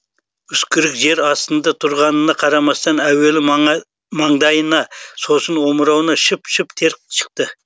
үскірік жер астында тұрғанына қарамастан әуелі маңдайына сосын омырауына шып шып тер шықты